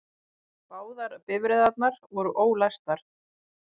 Báðar bifreiðarnar voru ólæstar